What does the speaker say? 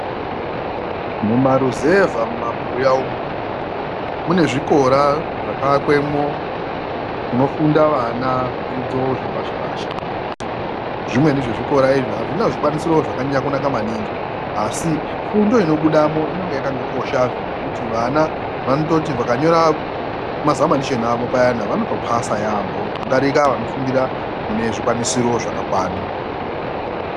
Mumaruzevha mumabuya umu mune zvikora zvakaakwemwo kunofunda vana zvidzidzo zvepashi-pashi . Zvimweni zvezvikora izvi azvina zvikwanisiro zvakanyanya kunaka maningi, asi fundo inobudamo inonga yakangokoshazve zvekuti vana vanototi vakanyora mazamanishoni avo payani ,vanotopasa yaampho kutodarika vanofundira mune zvikwanisiro zvakakwana.